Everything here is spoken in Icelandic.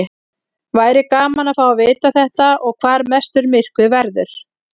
Væri gaman að fá að vita þetta og hvar mestur myrkvi verður.